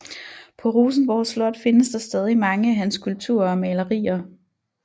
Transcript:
På Rosenborg Slot findes der stadig mange af hans skulpturer og malerier